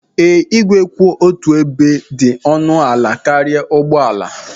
Ee, igwe kwụ otu ebe dị ọnụ ala karịa ụgbọ ala.